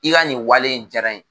I ka nin wale in diyara n ye